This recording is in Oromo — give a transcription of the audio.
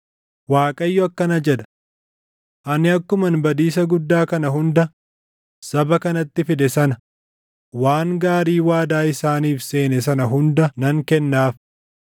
“ Waaqayyo akkana jedha: Ani akkuman badiisa guddaa kana hunda saba kanatti fide sana waan gaarii waadaa isaaniif seene sana hunda nan kennaaf.